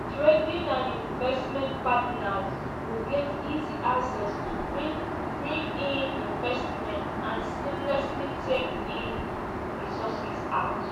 trading and investment partners go get easy access to bring bring in investments and seamlessly take resources out.”